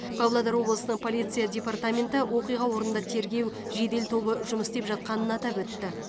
павлодар облысының полиция департаменті оқиға орнында тергеу жедел тобы жұмыс істеп жатқанын атап өтті